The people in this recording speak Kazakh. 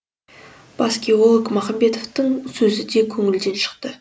бас геолог махамбетовтың сөзі де көңілден шықты